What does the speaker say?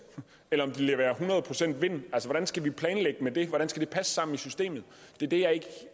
eller om det leverer hundrede procent vind hvordan skal vi planlægge med det hvordan skal det passe sammen i systemet det er det jeg ikke